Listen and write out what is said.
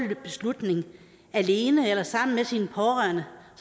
beslutning alene eller sammen med sine pårørende